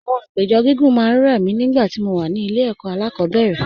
Àwọn àpéjọ gígùn máa ń rẹ̀ mí nígbà tí mo wà ní ilé ẹ̀kọ́ alákọ̀ọ́bẹ̀rẹ̀